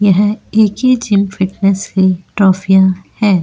यह A K gym fitness है ट्रोफिया है।